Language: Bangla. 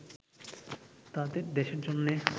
তাদের দেশের জন্যে